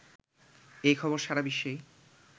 এই খবর সারা বিশ্বেই